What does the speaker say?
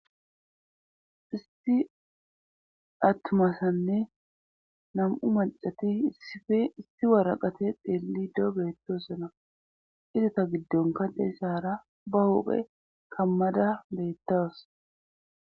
Isti atmasanne nam'u malcati isf isti waraqate deellidoo beettosana izata giddonka deessaara ba huphe kammada beettaos.